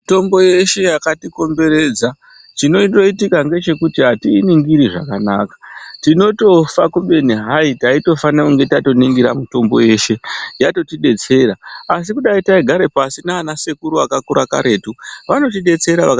Mitombo yeshe yakatikomberedza chinondoitika ngechekuti atiiningiri zvakanaka tinotofa kubeni hai taitofana taningira mitombo yeshe yatotidetsera, asi dai taigara pashi nanasekuru ekakakura karetu vanotidetsera..